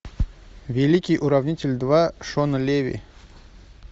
великий уравнитель два шона леви